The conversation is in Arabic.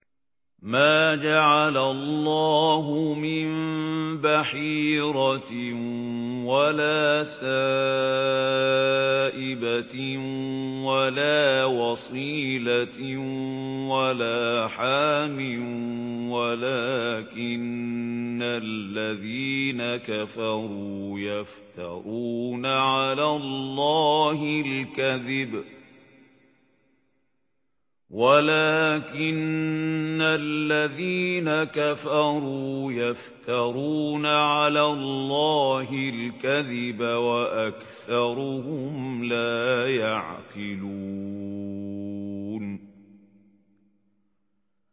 مَا جَعَلَ اللَّهُ مِن بَحِيرَةٍ وَلَا سَائِبَةٍ وَلَا وَصِيلَةٍ وَلَا حَامٍ ۙ وَلَٰكِنَّ الَّذِينَ كَفَرُوا يَفْتَرُونَ عَلَى اللَّهِ الْكَذِبَ ۖ وَأَكْثَرُهُمْ لَا يَعْقِلُونَ